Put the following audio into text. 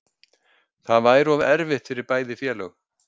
Þetta væri of erfitt fyrir bæði félög